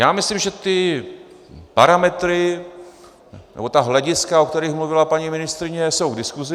Já myslím, že ty parametry, nebo ta hlediska, o kterých mluvila paní ministryně, jsou k diskuzi.